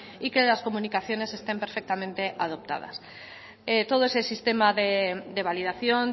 y que las comunicaciones estén perfectamente adoptadas todo ese sistema de validación